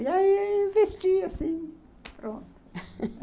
E aí vesti assim, pronto